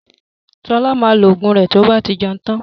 Ṣọlá maa lo Ògùn rẹ tí ó bá ti jẹun tán